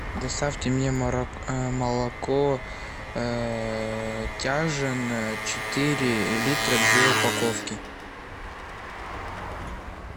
доставьте мне молоко тяжин четыре литра две упаковки